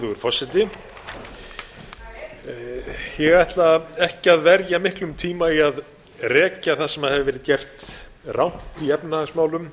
háæruverðugur forseti ég ætla ekki að verja miklum tíma í að rekja það sem hefur verið gert rangt í efnahagsmálum